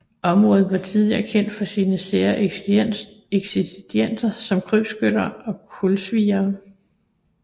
Området var tidligere kendt for sine sære eksistenser som krybskytter og kulsviere